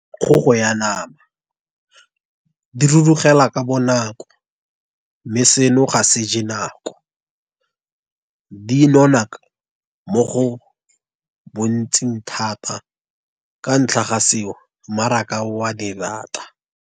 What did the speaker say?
Kgogo ya nama, di rurugela ka bonako, mme seno ga se ja nako, dinona mo go bontsing thata ka ntlha ga seo mmaraka o a di rata.